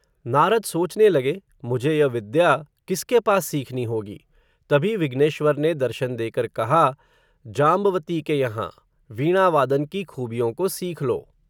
नारद सोचने लगे, मुझे यह विद्या, किसके पास सीखनी होगी, तभी विघ्नेश्वर ने दर्शन देकर कहा, जांब वती के यहाँ, वीणा वादन की खूबियों को सीख लो